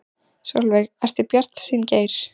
Sólveig: Ertu bjartsýnn Geir?